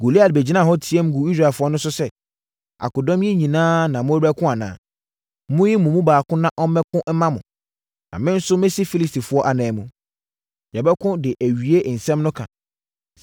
Goliat bɛgyinaa hɔ teaam guu Israelfoɔ no so sɛ, “Akodɔm yi nyinaa na morebɛko anaa? Monyi mo mu baako na ɔmmɛko mma mo, na me nso mɛsi Filistifoɔ anan mu. Yɛbɛko de awie asɛm no ka!